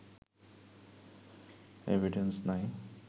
evidence নাই